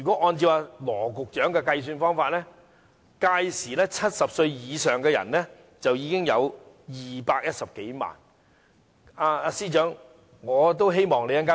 按照羅局長的說法 ，2066 年70歲以上的長者有210多萬人。